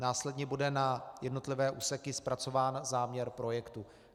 Následně bude na jednotlivé úseky zpracován záměr projektu.